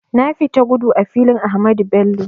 Na fita gudu a filin Ahmadu Bello